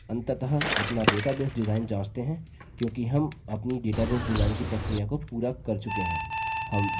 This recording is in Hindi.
अंततः अपना database डिजाइन जाँचते हैं क्योंकि हम अपनी database डिजाइन की प्रक्रिया को पूरा कर चुके हैं